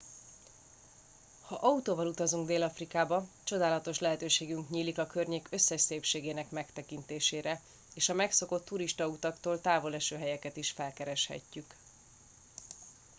ha autóval utazunk dél afrikába csodálatos lehetőségünk nyílik a környék összes szépségének megtekintésére és a megszokott turistautaktól távol eső helyeket is felkereshetjük